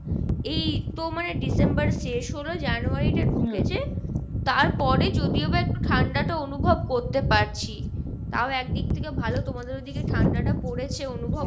এই তো মানে December শেষ হলো January টা ঢুকেছে তারপরে যদিও বা একটু ঠাণ্ডা টা অনুভব করতে পারছি। তাও একদিক থেকে ভালো তোমাদের ওইদিকে ঠাণ্ডা টা পরেছে অনুভব